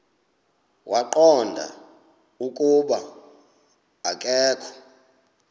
waqonda ukuba akokho